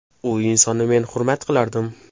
U insonni men hurmat qilardim.